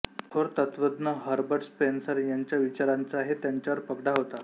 थोर तत्त्वज्ञ Herbert Spencer यांच्या विचारांचाही त्यांच्यावर पगडा होता